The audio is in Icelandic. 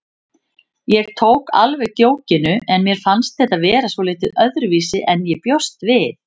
Ég tók alveg djókinu en mér fannst þetta vera svolítið öðruvísi en ég bjóst við.